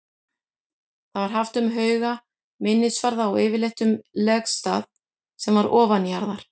Það var haft um hauga, minnisvarða og yfirleitt um legstað sem var ofanjarðar.